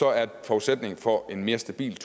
er forudsætningen for en mere stabil